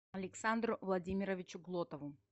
александру владимировичу глотову